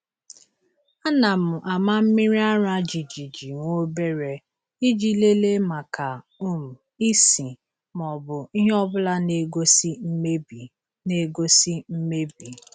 A na m ama mmiri ara jijiji nwobere, iji lelee maka um ísì ma ọ bụ ihe ọbụla n'egosi mmebi. n'egosi mmebi.